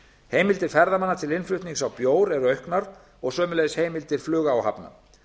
heimildir ferðamanna til innflutnings á bjór eru auknar og sömuleiðis heimildir flugáhafna